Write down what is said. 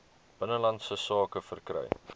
binnelandse sake verkry